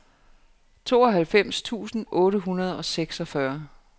tooghalvfems tusind otte hundrede og seksogfyrre